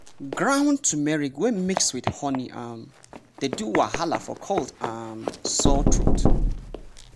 ground turmeric wey mix with honey um dey do wahala for cold and um sore throat.